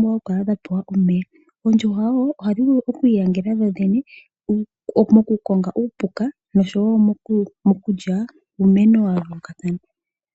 nokupewa omeya. Ohadhi vulu woo okwiinyangela dho dhene mokukonga uupuka oshowo moku lya uumeno wayoolokathana.